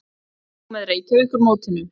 Fylgist þú með Reykjavíkurmótinu?